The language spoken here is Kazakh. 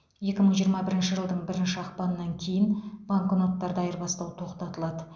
екі мың жиырма бірінші жылдың бірінші ақпанынан кейін банкноттарды айырбастау тоқтатылады